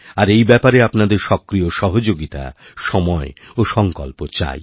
আর এই ব্যাপারেআপনাদের সক্রিয় সহযোগিতা সময় ও সংকল্প চাই